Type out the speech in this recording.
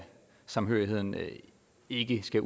samhørigheden ikke skal